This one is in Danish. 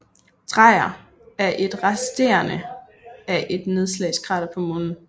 Dreyer er et resterne af et nedslagskrater på Månen